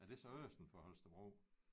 Er det så østen for Holstebro